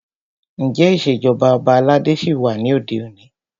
Ǹjẹ́ ìṣèjọba ọba aládé ṣí wà ní òde òní?